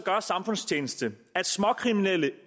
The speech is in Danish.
gør samfundstjeneste at småkriminelle